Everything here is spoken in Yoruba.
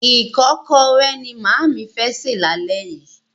Ìkọ́kọrẹ́ ni màámi fẹ́ sè lálẹ́ yìí.